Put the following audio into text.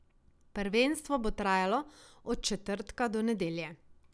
Prvenstvo bo trajalo od četrtka do nedelje.